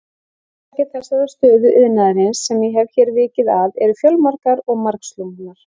Orsakir þessarar stöðu iðnaðarins, sem ég hef hér vikið að, eru fjölmargar og margslungnar.